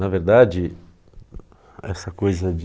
Na verdade, essa coisa de